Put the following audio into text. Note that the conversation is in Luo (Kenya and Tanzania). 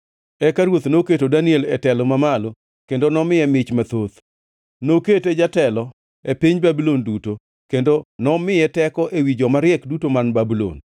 Eka ruoth noketo Daniel e telo mamalo kendo nomiye mich mathoth. Nokete jatelo e piny Babulon duto, kendo nomiye teko ewi joma riek duto man Babulon.